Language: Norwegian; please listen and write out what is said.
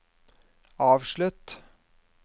avslutt